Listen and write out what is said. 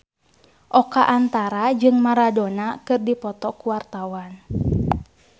Oka Antara jeung Maradona keur dipoto ku wartawan